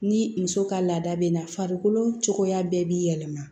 Ni muso ka laada bɛ na farikolo cogoya bɛɛ b'i yɛlɛma